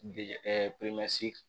De